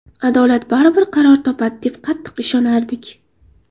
Adolat baribir qaror topadi, deb qattiq ishonardik.